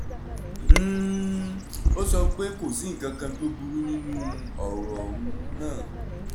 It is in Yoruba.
um ó sọ pé kò sí nǹkankan tó burú nínú ọ̀rọ̀ um náà